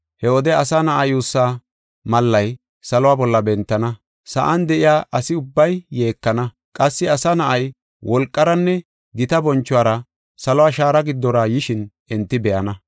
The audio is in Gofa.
He wode Asa Na7aa yuussaa mallay saluwa bolla bentana. Sa7an de7iya asi ubbay yeekana. Qassi Asa Na7ay, wolqaranne gita bonchuwara saluwa shaara giddora yishin enti be7ana.